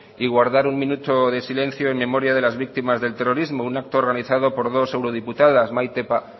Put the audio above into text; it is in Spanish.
y guardar un minuto de silencio en memoria de las víctimas del terrorismo un acto organizado por dos eurodiputadas maite